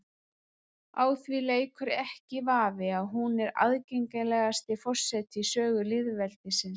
Á því leikur ekki vafi að hún er aðgengilegasti forseti í sögu lýðveldisins.